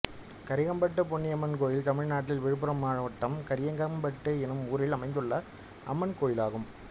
கரிக்கம்பட்டு பொன்னியம்மன் கோயில் தமிழ்நாட்டில் விழுப்புரம் மாவட்டம் கரிக்கம்பட்டு என்னும் ஊரில் அமைந்துள்ள அம்மன் கோயிலாகும்